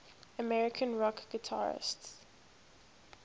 american rock guitarists